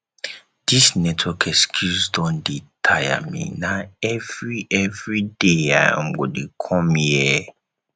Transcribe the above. this network excuse don dey tire me na every every day i um go dey come here